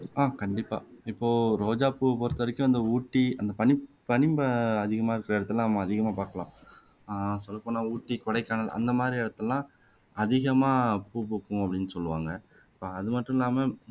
ஆஹ் கண்டிப்பா இப்போ ரோஜாப்பூவை பொறுத்த வரைக்கும் இந்த ஊட்டி அந்த பனி பனிப அதிகமா இருக்க இடத்துல தான் நம்ம அதிகமா பாக்கலாம் ஆஹ் சொல்ல போனா ஊட்டி கொடைக்கானல் அந்த மாதிரி இடத்துல எல்லாம் அதிகமா பூ பூக்கும் அபடின்னு சொல்லுவாங்க அது மட்டுமில்லாம